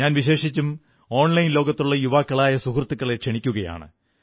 ഞാൻ വിശേഷിച്ചും ഓൺലൈൻ ലോകത്തുള്ള യുവാക്കളായ സുഹൃത്തുക്കളെ ക്ഷണിക്കയാണ്